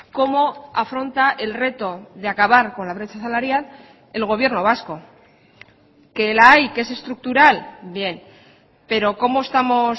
cómo afronta el reto de acabar con la brecha salarial el gobierno vasco que la hay que es estructural bien pero cómo estamos